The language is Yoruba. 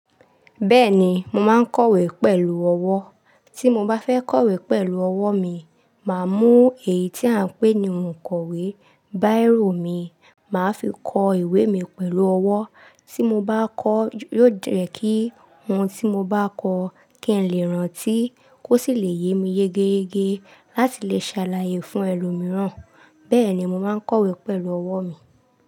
Bẹ́ẹ̀ni, mo máa ń kọ̀wé pẹ̀lú ọwọ́. Tí mo bá fẹ́ kọ̀wé pẹ̀lú ọwọ́ mi, màá mú èyí tí à ń pè ní òǹkọ̀wé, bírò mi, màá fi kọ ìwé mi pẹ̀lú ọwọ́. Tí mo bá kọ, yóò jẹ̀ kí ohun tí mo bá kọ kí n lè rántí kó sì lè yé mi yẹ́gẹ́yegẹ́ láti lè ṣàlàyé fún ẹlòmíràn. Bẹ́ẹ̀ni, mo máa ń kọ̀wé pẹ̀lú ọwọ́ mi.